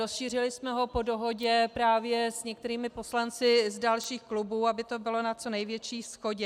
Rozšířili jsme ho po dohodě právě s některými poslanci z dalších klubů, aby to bylo na co největší shodě.